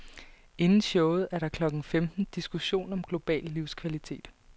Inden showet er der klokken femten diskussion om global livskvalitet.